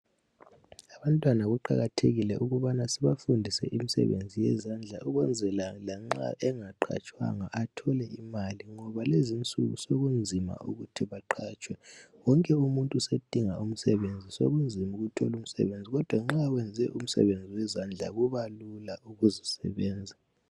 Abantwana kuqakathekile ukubana sibafundise imsebenzi yezandla ukwenzela lanxa engaqhatshwanga athole imali, ngoba lezinsuku sokunzima ukuthi baqhatshwe. Wonke umuntu sedinga umsebenzi sokunzima ukuthola umsebenzi, kodwa nxa wenze umsebenzi wezandla kubalula ukuzisebenza.